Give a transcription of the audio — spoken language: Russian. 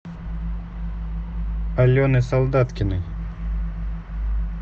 алены солдаткиной